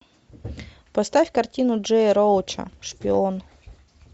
поставь картину джея роуча шпион